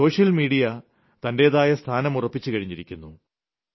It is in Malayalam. സോഷ്യൽ മീഡിയ തന്റേതായ സ്ഥാനം ഉറപ്പിച്ച് കഴിഞ്ഞിരിക്കുന്നു